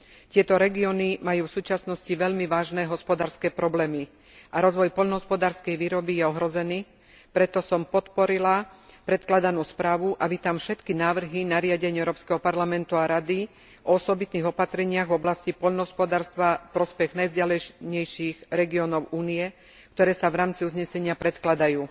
Tieto regióny majú v súčasnosti veľmi vážne hospodárske problémy a rozvoj poľnohospodárskej výroby je ohrozený, preto som podporila predkladanú správu a vítam všetky návrhy nariadenia Európskeho parlamentu a Rady o osobitných opatreniach v oblasti poľnohospodárstva v prospech najvzdialenejších regiónov Únie, ktoré sa v rámci uznesenia predkladajú.